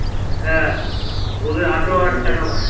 হ্যাঁ ওদের আঠেরো হাজার টাকা মাইনে